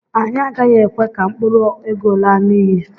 anyị agaghị ekwe ka mkpụrụ ego laa n'iyi.